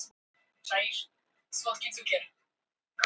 Á Kili hafði síra Björn spurt með þykkju:-Og hver skal nú kosinn faðir minn?